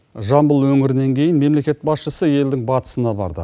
жамбыл өңірінен кейін мемлекет басшысы елдің батысына барды